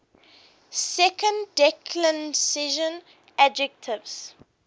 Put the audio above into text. second declension adjectives